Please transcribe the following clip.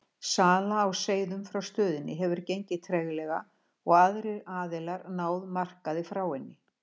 Sala á seiðum frá stöðinni hefur gengið treglega og aðrir aðilar náð markaði frá henni.